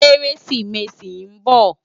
Kérésimési n bò